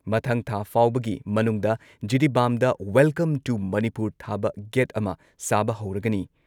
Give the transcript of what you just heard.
ꯃꯊꯪ ꯊꯥ ꯐꯥꯎꯕꯒꯤ ꯃꯅꯨꯡꯗ ꯖꯤꯔꯤꯕꯥꯝꯗ ꯋꯦꯜꯀꯝ ꯇꯨ ꯃꯅꯤꯄꯨꯔ ꯊꯥꯕ ꯒꯦꯠ ꯑꯃ ꯁꯥꯕ ꯍꯧꯔꯒꯅꯤ ꯫